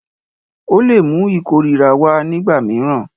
Ó lè mú ìkórìíra wá nígbà mìíràn.